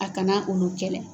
A kana olu kɛlɛ.